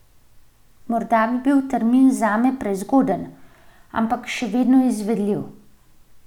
Morda bi bil termin zame prezgoden, ampak še vedno izvedljiv.